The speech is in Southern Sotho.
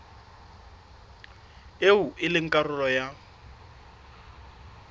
eo e leng karolo ya